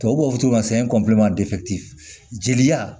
Tubabu b'a fɔ jeli